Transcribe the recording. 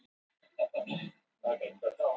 Nei, þeim bara misheyrðist svona.